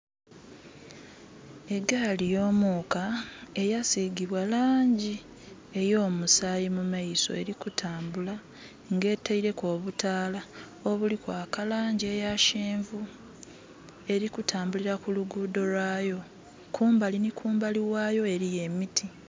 Egaali yo muuka eyasigibwa laangi ey'omusaayi mu maiso, eli kutambula, nga etaileku obutaala obuli kwaka laangi eya kyenvu. Eli kutambulira ku luguudho lwaayo. Kumbali nhi kumbali ghayo eliyo emiti.